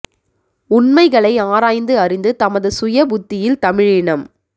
உண்மைகளை ஆராய்ந்து அறிந்து தமது சுய புத்தியில் தமிழினம்